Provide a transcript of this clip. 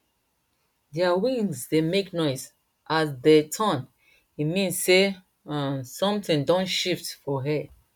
their wings dey make noise as dey turn e mean sey um something don shift for air